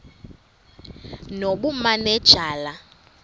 nobumanejala